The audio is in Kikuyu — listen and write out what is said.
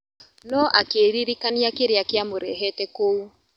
No akĩririkania kĩrĩa kiamũrehete kũu.